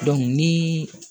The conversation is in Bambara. ni